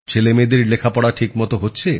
ছেলেমেয়েদের লেখাপড়া ঠিক মত হচ্ছে